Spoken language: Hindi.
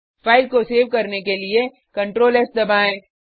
फाइल को सेव करने के लिए CtrlS दबाएँ